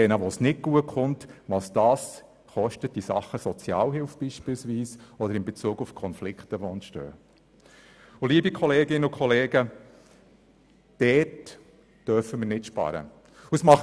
Denken wir auch an die Mittel, die wir beispielsweise für die Sozialhilfe oder für die Lösung von Konflikten ausgeben, wenn es mit diesen Kindern nicht gut herauskommt.